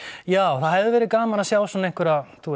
já það hefði verið gaman að sjá svona einhverja þú